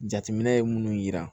Jateminɛ ye minnu yira